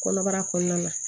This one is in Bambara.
Kɔnɔbara kɔɔna na